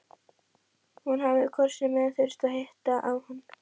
Hún hafi hvort sem er þurft að hitta á hann.